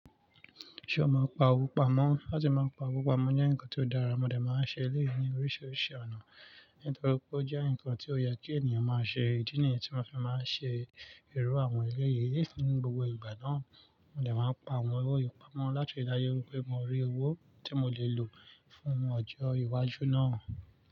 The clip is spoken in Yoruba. Ṣé o mọ pa òwò pamọ́? Láti máa ń pa òwò pamọ́ jẹ́ nǹkan tó dára, mo dẹ̀ máa ń ṣe èlé yìí ní oríṣiríṣi ọ̀nà. Nítorí pé ó jẹ́ nǹkan tí ó yẹ kí ènìyàn máa ṣe. Ìdí nìyí tí mo fi máa ń ṣe iru àwọn eléyìí ni gbogbo ìgbà náà. Mo dẹ̀ máa ń pa àwọn owó yìí pamọ́ láti dájú pé mo rí owó tí mo lè lò fún ọjọ́ iwájú náà.